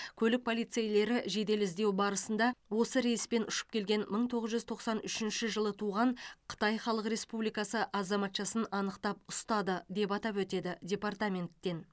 көлік полициейлері жедел іздеу барысында осы рейспен ұшып келген мың тоғыз жүз тоқсан үшінші жылы туған қытай халық республикасы азаматшасын анықтап ұстады деп атап өтеді департаменттен